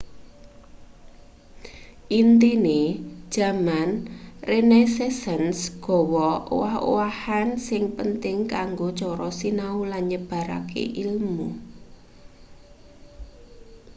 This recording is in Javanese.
intine jaman renaissance gawe owah-owahan sing penting kanggo cara sinau lan nyebarke ilmu